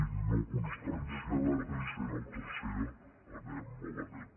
i no constància de l’addicional tercera anem malament